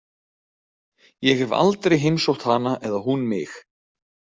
Ég hef aldrei heimsótt hana eða hún mig.